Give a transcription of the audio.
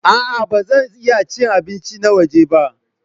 A'a, ba zan iya cin abinci na waje ba.